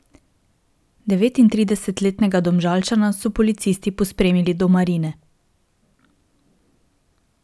Devetintridesetletnega Domžalčana so policisti pospremili do marine.